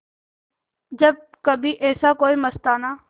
जब कभी ऐसे कोई मस्ताना